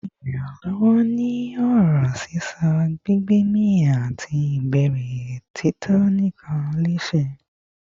Ẹnu ṣe iranlọwọ ni ọrọ sisọ, gbigbemi, ati ibẹrẹ ti tito nkan lẹsẹsẹ